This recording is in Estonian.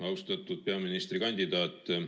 Austatud peaministrikandidaat!